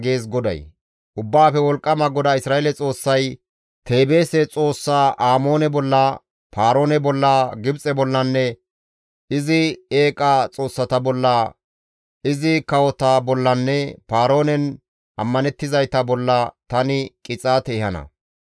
Ubbaafe Wolqqama GODAA Isra7eele Xoossay, «Teebeese xoossa Amoone bolla, Paaroone bolla, Gibxe bollanne izi eeqa xoossata bolla, izi kawota bollanne Paaroonen ammanettizayta bolla tani qixaate ehana.